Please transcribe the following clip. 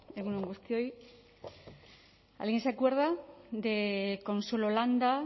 egun on guztioi alguien se acuerda de consuelo landa